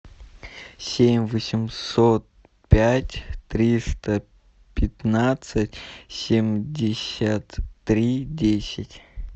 семь восемьсот пять триста пятнадцать семьдесят три десять